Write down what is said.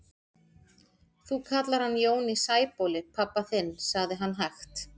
Þú kallar hann Jón í Sæbóli pabba þinn, sagði hann hægt.